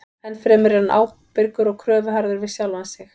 Ennfremur er hann ábyrgur og kröfuharður við sjálfan sig.